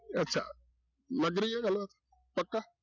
ਅੱਛਾ ਲੱਗ ਰਹੀ ਹੈ ਗੱਲ ਪੱਕਾ।